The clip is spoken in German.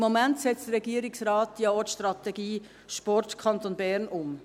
Im Moment setzt der Regierungsrat ja auch die Strategie «Sport Kanton Bern» um.